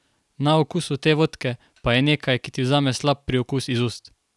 Na okusu te vodke pa je nekaj, ki ti vzame slab priokus iz ust.